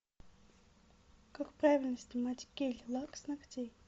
как правильно снимать гель лак с ногтей